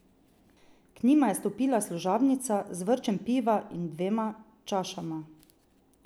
K njima je stopila služabnica z vrčem piva in dvema čašama.